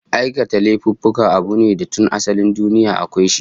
Aikata laifuffuka abu ne da tun asalin duniya akwai shi